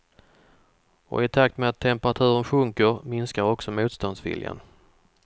Och i takt med att temperaturen sjunker minskar också motståndsviljan.